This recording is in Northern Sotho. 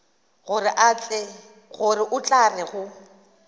gore o tla re go